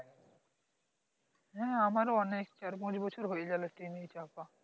হ্যাঁ আমার ও অনেক চার পাচ বছর হয়ে গেল train এ চাপা